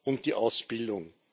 und die Ausbildung.